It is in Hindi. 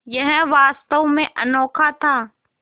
यह वास्तव में अनोखा था